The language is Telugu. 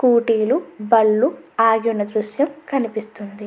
స్కూటీ లు బండ్లు ఆగివున్న దృశ్యం కనిపిస్తుంది.